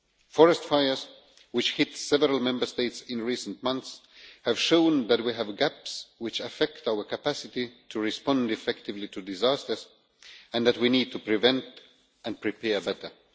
Forest fires, which hit several Member States in recent months, have shown that we have gaps which affect our capacity to respond effectively to disasters and that we need to prevent and prepare better.